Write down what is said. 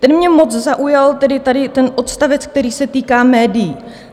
Ten mě moc zaujal, tedy tady ten odstavec, který se týká médií.